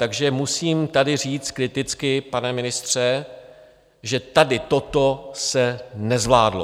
Takže musím tady říct kriticky, pane ministře, že tady toto se nezvládlo.